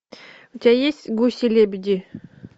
у тебя есть гуси лебеди